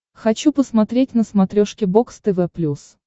хочу посмотреть на смотрешке бокс тв плюс